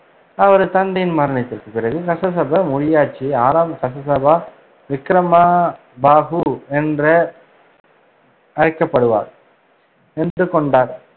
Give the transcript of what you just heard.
அவரது தந்தையின் மரணத்திற்குப் பிறகு, கஸஸ்பா முடியாட்சியை ஆறாம் கஸ்ஸபா விக்ரமபாஹு என்ற அழைக்கப்படுவார் என்றுக்கொண்டார்